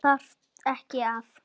Þarftu ekki að.?